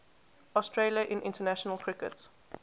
australia in international cricket